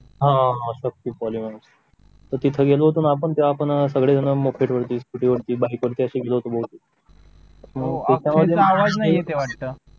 हा Shakti Poly Mart होती तिथं गेलं होतं ना आपण सगळे जण मोकेट वरती बाईक वरती असे गेले होते बहुतेक